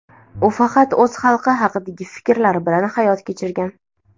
U faqat o‘z xalqi haqidagi fikrlar bilan hayot kechirgan.